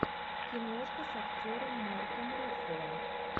киношка с актером марком руффало